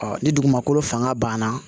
ni dugumakolo fanga banna